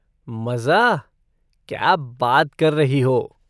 मज़ा? क्या बात कर रही हो?